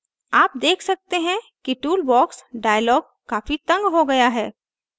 आप देख सकते हैं कि toolbox dialog काफी तंग हो गया है